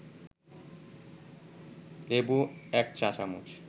লেবু ১ চা-চামচ